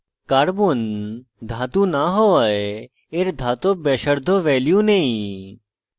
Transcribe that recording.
carbon ধাতু না হওযায় এর ধাতব ব্যাসার্ধ value নেই